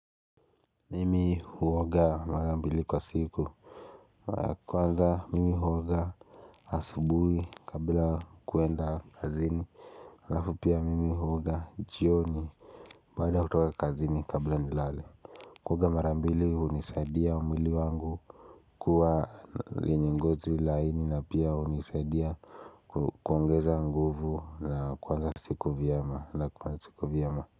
Mimi huoga mara mbili kwa siku Kwanza mimi huoga asubuhi kabla kuenda kazini Alafu pia mimi huoga jioni Baada kutoka kazini kabila nilale. Kuoga mara mbili hunisaidia mwili wangu kuwa yenye ngozi laini na pia hunisaidia kuongeza nguvu na kuanza siku vyema.